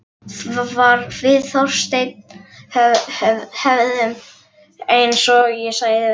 Við Þorsteinn höfðum, eins og ég sagði, þessa venju.